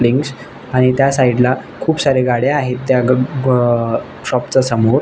आणि त्या साइड ला खुप साऱ्या गाड्या त्या ग गो अ शॉप च्या समोर.